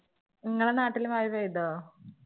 നിങ്ങടെ നാട്ടില് മഴ പെയ്തോ?